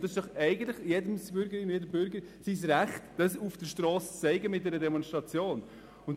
Dabei ist es eigentlich jeder Bürgerin und jedes Bürgers Recht, dies auf der Strasse mittels einer Demonstration zu äussern.